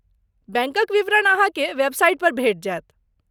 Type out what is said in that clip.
बैंकक विवरण अहाँकेँ वेबसाइट पर भेटि जायत।